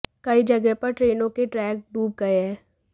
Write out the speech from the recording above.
कई जगह पर ट्रेनों के ट्रैक डूब गए हैं